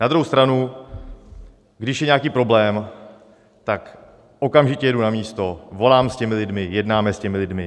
Na druhou stranu, když je nějaký problém, tak okamžitě jedu na místo, volám s těmi lidmi, jednáme s těmi lidmi.